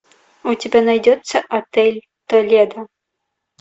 у тебя найдется отель толедо